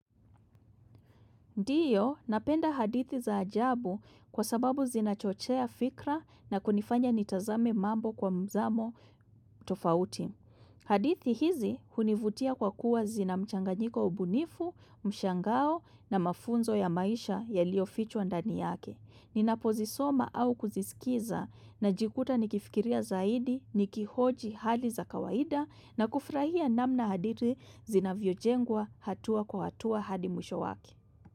Ndiyo, napenda hadithi za ajabu kwa sababu zinachochea fikra na kunifanya nitazame mambo kwa mzamo tofauti. Hadithi hizi hunivutia kwa kuwa zinamchanganyiko wa ubunifu, mshangao na mafunzo ya maisha yaliofichwa ndani yake. Ninapozi soma au kuzisikiza na jikuta nikifikiria zaidi, nikihoji hali za kawaida na kufurahia namna hadithi zinavyojengwa hatua kwa hatua hadi mwisho wake.